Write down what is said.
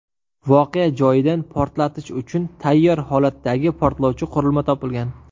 Voqea joyidan portlatish uchun tayyor holatdaki portlovchi qurilma topilgan.